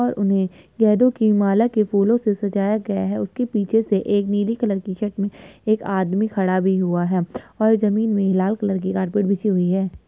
और उन्हें गेंदो की माला के फूलों से सजाया गया है उसके पीछे से एक नीली कलर की शर्ट में एक आदमी खड़ा भी हुआ है और जमीन में ही लाल कलर की कारपेट बिछी हुई है।